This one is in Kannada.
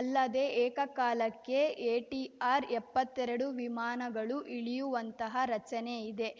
ಅಲ್ಲದೆ ಏಕಕಾಲಕ್ಕೆ ಎಟಿಆರ್‌ಎಪ್ಪತ್ತೆರಡು ವಿಮಾನಗಳು ಇಳಿಯುವಂತಹ ರಚನೆಯಿದೆ